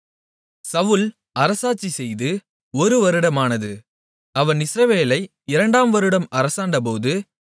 சவுல் அரசாட்சி செய்து ஒரு வருடமானது அவன் இஸ்ரவேலை இரண்டாம் வருடம் அரசாண்டபோது